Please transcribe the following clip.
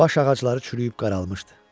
Baş ağacları çürüyüb qaralmışdı.